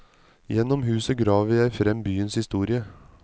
Gjennom huset graver jeg frem byens historie.